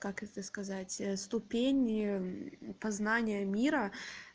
как это сказать ступени познания мира